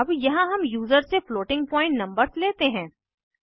अब यहाँ हम यूज़र से फ्लोटिंग पॉइंट नंबर्स लेते हैं